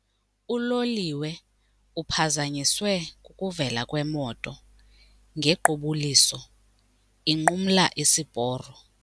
Uloliwe uphazanyiswe kukuvela kwemoto ngequbuliso inqumla isiporo.